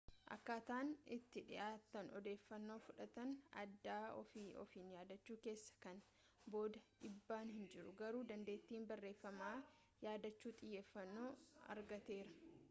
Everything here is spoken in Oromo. akkaataan itti dhiyaatanii odeeffannoo fudhatan adda ofii ofiin yaadachuu keessa kana booda dhiibbaan hin jiru garuu dandettiin barreeffama yaadachuu xiyyeffanoo argateera